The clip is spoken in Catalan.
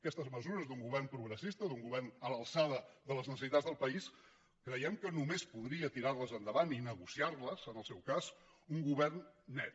aquestes mesures d’un govern progressista d’un govern a l’alçada de les necessitats del país creiem que només podria tirarles endavant i negociarles en el seu cas un govern net